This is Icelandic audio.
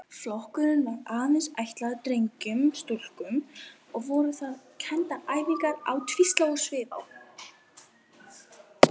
Flokkurinn var aðeins ætlaður drengjum og voru þar kenndar æfingar á tvíslá og svifrá.